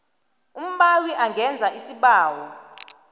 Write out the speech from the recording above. umbawi angenza isibawo